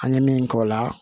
An ye min k'o la